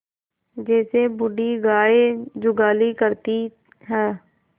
जैसे बूढ़ी गाय जुगाली करती है